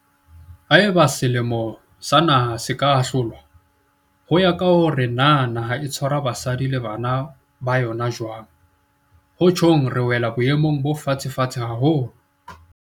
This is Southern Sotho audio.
Haeba semelo sa naha se ka ahlolwa ho ya ka hore na naha e tshwara basadi le bana ba yona jwang, ho tjhong re wela boemong bo fatshefatshe haholo.